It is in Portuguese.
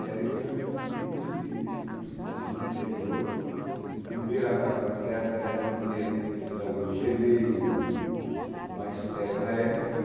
E ali foi a minha primeira experiência de magistério no interior, de primeira a quarta série, apesar de não ter pedagogia nem o magistério na época.